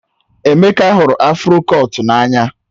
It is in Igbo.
Emeka hụrụ afro kọtụ n'anya